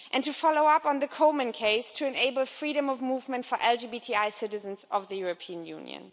to follow up on the Coleman case to enable freedom of movement for LGBTI citizens of the European Union